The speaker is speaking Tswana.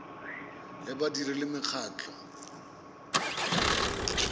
ya badiri le makgotla a